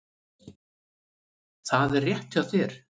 Það er rétt hjá þér.